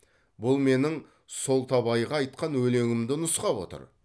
бұл менің солтабайға айтқан өлеңімді нұсқап отыр